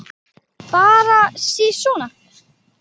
Bara sisona.